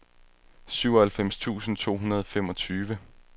syvoghalvfems tusind to hundrede og femogtyve